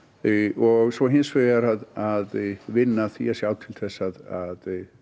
og hins vegar að vinna að því að sjá til þess að